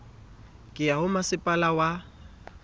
ka ya ho masepala wa